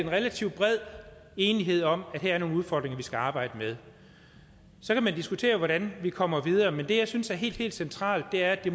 en relativt bred enighed om at her er nogle udfordringer vi skal arbejde med så kan man diskutere hvordan vi kommer videre men det jeg synes er helt helt centralt er at det